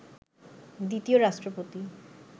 দ্বিতীয় রাষ্ট্রপতি